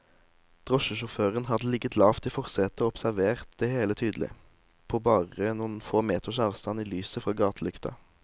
Drosjesjåføren hadde ligget lavt i forsetet og observert det hele tydelig, på bare noen få meters avstand i lyset fra gatelykta.